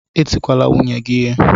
Etikwala nwunye gị ihe!